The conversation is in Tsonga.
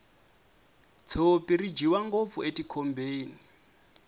tshopi ri dyiwa ngopfu etikhombeni